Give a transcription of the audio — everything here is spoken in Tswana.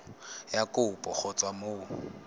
ya kopo go tswa mo